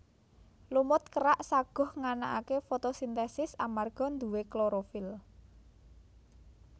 Lumut kerak saguh nganakake fotosintesis amarga nduwe klorofil